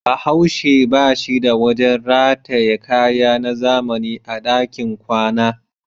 Bahaushe ba shi da wajen rataye kaya na zamani a dakin kwana.